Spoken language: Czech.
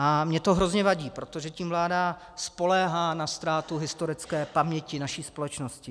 A mně to hrozně vadí, protože tím vláda spoléhá na ztrátu historické paměti naší společnosti.